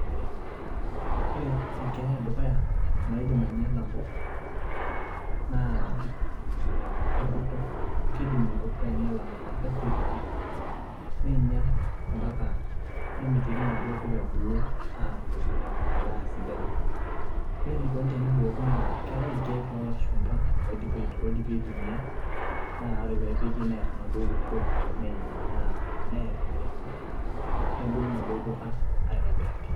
ore enkeeya edukuya naidim aing'iala mpuka naa enkurto, kidim enkurto aing'ial mpuka neturutur, neing'ial, mpak nemitiki inaduoo puka ebulu aaaku edaa sidai. ore enikoni teneiboori naa keetae irkeek loo lashumpa oidimi aitumia, naa ore pee epiki neer enaduo kurto nebulu inaduo puka aitobiraki.